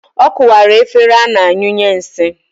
Ọ kụwara efere m ana anyụnye nsị